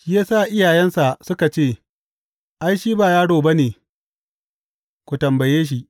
Shi ya sa iyayensa suka ce, Ai, shi ba yaro ba ne, ku tambaye shi.